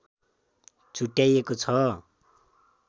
छुट्याएको छ